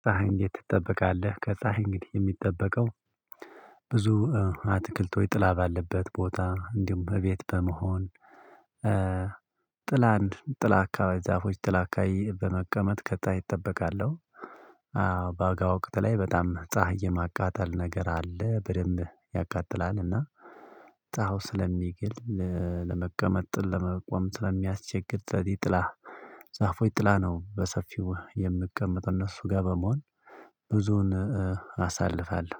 እንዴት ትጠበቃለህ ፀሀይ እንግዲህ የሚጠበቀው ብዙ አትክልት ሆይ ጥላ ባለበት ቦታ እንዲሁም እቤት በመሆን ጥላንድ ጥላ አካባቢ ዛፎች ጥላ አካባቢ በመቀመጥ ከፀሀይ እጠበቃለሁ። በጋ ወቅት ላይ በጣም ፀሀይ የማቃጠል ነገር አለ በደንብ ያቃጥላልና። ጸሃው ስለሚግል ለመቀመጥ ለመቆም ስለሚያስቸግር ስለዚ ጥላ ዛፎች ጥላ ነው። በሰፊው የምቀመጥ እነሱ ጋር በመሆን ብዙን አሳልፋለሁ።